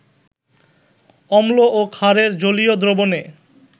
অম্ল ও ক্ষারের জলীয় দ্রবণে